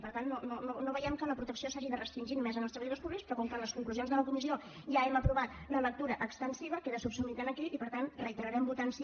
per tant no veiem que la protecció s’hagi de restringir només als treballadors públics però com que en les conclusions de la comissió ja hem aprovat la lectura extensiva queda subsumit aquí i per tant reiterarem votant sí